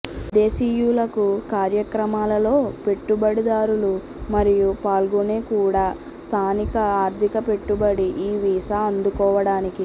విదేశీయులకు కార్యక్రమాలలో పెట్టుబడిదారులు మరియు పాల్గొనే కూడా స్థానిక ఆర్థిక పెట్టుబడి ఈ వీసా అందుకోవడానికి